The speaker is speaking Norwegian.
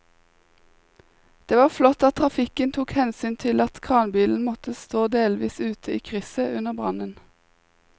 Det var flott at trafikken tok hensyn til at kranbilen måtte stå delvis ute i krysset under brannen.